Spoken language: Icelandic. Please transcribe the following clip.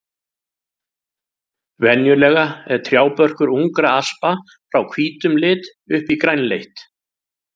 Venjulega er trjábörkur ungra aspa frá hvítum lit upp í grænleitt.